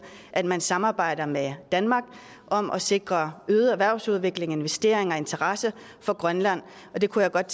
at man samarbejder med danmark om at sikre øget erhvervsudvikling investeringer og interesse for grønland og det kunne jeg godt